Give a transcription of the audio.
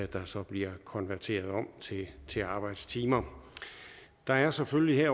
der så bliver konverteret til arbejdstimer der er selvfølgelig i